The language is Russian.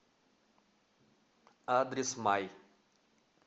адрес май